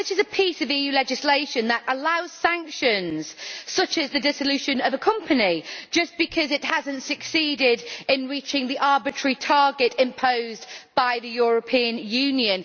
This is a piece of EU legislation that allows for sanctions such as the dissolution of a company just because it has not succeeded in reaching the arbitrary target imposed by the European Union.